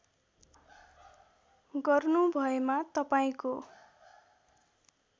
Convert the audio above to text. गर्नु भएमा तपाईँको